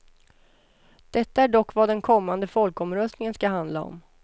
Detta är dock vad den kommande folkomröstningen ska handla om.